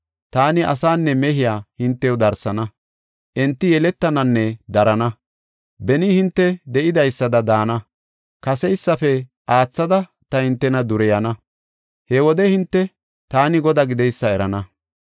Taani asaanne mehiya hintew darsana; enti yeletananne darana. Beni hinte de7idaysada daana; kaseysafe aathada ta hintena dureyana. He wode hinte, taani Godaa gideysa erana.